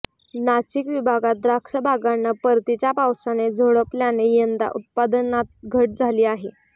नाशिक विभागात द्राक्षबागांना परतीच्या पावसाने झोडपल्याने यंदा उत्पादनात घट झाली आहे